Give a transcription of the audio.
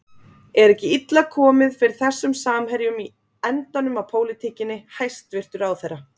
Er ekki illa komið fyrir þessum samherjum í endanum á pólitíkinni, hæstvirtur ráðherra?